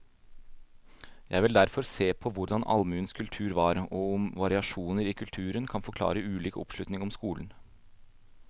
Jeg vil derfor se på hvordan allmuens kultur var, og om variasjoner i kulturen kan forklare ulik oppslutning om skolen.